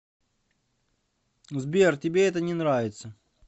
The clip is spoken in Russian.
сбер тебе это не нравится